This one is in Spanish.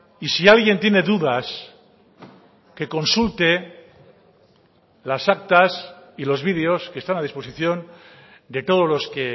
y si alguien tiene dudas que consulte las actas y los vídeos que están a disposición de todos los que